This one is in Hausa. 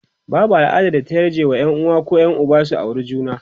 babau al'adar da ta yarje wa Yan uwa koh Yan Uba su aure juna